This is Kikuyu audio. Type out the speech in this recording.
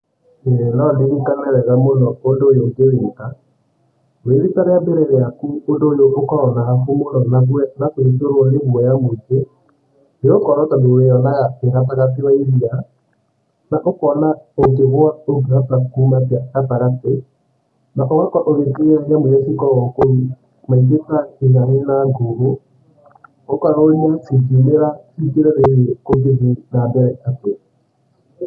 No ndirikane wega ũndũ ũyũ ngĩwĩka. Wĩ rita rĩambere rĩaku ũndũ ũyũ ũkoragwo na hahũ mũno na kũiyũrwo nĩ guoya mũingĩ, nĩ gũkorwo tondũ ũrĩwonaga wĩ gatagatĩ wa iria, ũkona ũ ngĩgwa ndũngĩhota kuuma gatagatĩ na ũgakorwo ũgĩ tigĩra nyamũ iria cikoragwo kũu maingĩ ta mguhũ, ũkeyũria cingiumĩra cingĩre thĩi-niĩ kũngĩthiĩ na mbere atĩa.